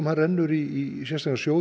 rennur í sérstakan sjóð